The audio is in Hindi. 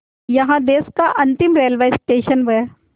यहाँ देश का अंतिम रेलवे स्टेशन व